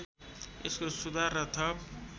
यसको सुधार र थप